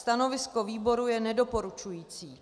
Stanovisko výboru je nedoporučující.